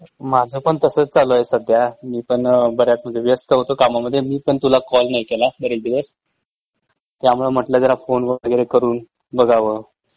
माझ पण तसच चालू आहे सध्या मी पण बऱ्याच म्हंजे व्यस्त होतो कामामध्ये मइ पण तुला कॉल नाही केला बरेच दिवस.त्यामुळ म्हटलं जरा फोन वगेरे करून बघाव.